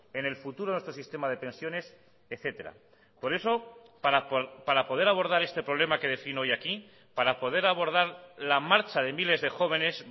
en el futuro nuestro sistema de pensiones etcétera por eso para poder abordar este problema que defino hoy aquí para poder abordar la marcha de miles de jóvenes